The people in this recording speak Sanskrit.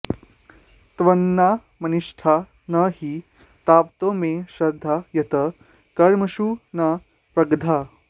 त्वन्नामनिष्टा न हि तावतो मे श्रद्धा यतः कर्मसु न प्रदग्धा